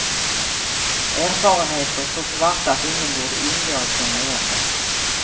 Erfarenheter så svarta att ingen borde undgå att känna igen dem.